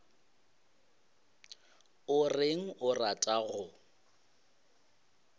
o reng o rata go